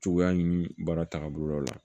Cogoya ɲini baara tagabolo la